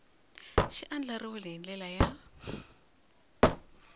xi andlariwile hi ndlela ya